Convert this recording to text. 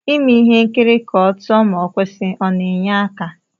Ime ihe nkiri ka otuo ma ọkwụsi ọna enye aka?